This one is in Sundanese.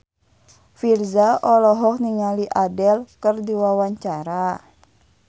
Virzha olohok ningali Adele keur diwawancara